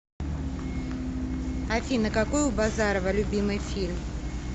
афина какой у базарова любимый фильм